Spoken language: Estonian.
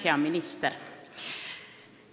Hea minister!